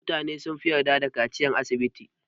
Mutane sunfi yarda da kaciyar asibiti.